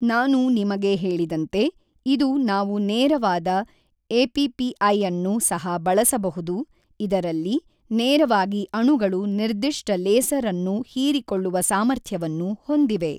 ನಾನು ನಿಮಗೆ ಹೇಳಿದಂತೆ ಇದು ನಾವು ನೇರವಾದ ಎಪಿಪಿಐಅನ್ನು ಸಹ ಬಳಸಬಹುದು ಇದರಲ್ಲಿ ನೇರವಾಗಿ ಅಣುಗಳು ನಿರ್ದಿಷ್ಟ ಲೇಸರ್ ಅನ್ನು ಹೀರಿಕೊಳ್ಳುವ ಸಾಮರ್ಥ್ಯವನ್ನು ಹೊಂದಿವೆ.